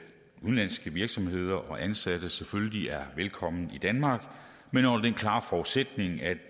udenlandske virksomheder og ansatte selvfølgelig er velkomne i danmark men under den klare forudsætning at